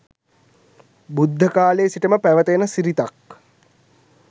බුද්ධ කාලයේ සිටම පැවත එන සිරිතක්.